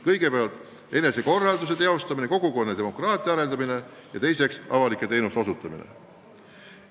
Kõigepealt, enesekorralduse teostamine, kogukonna demokraatia arendamine, ja teiseks, avalike teenuste osutamine.